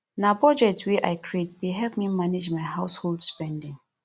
na budget wey i create dey help me manage my household spending